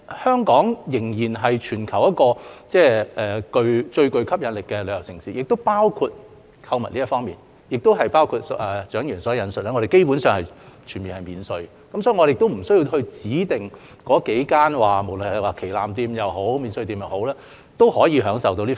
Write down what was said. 香港仍然是全球最具吸引力的旅遊城市之一，在購物方面，正如蔣議員所述，香港基本上全面免稅，無須指定在那幾間旗艦店或免稅店購物方能免稅。